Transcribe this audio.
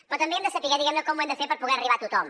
però també hem de saber com ho hem de fer per poder arribar a tothom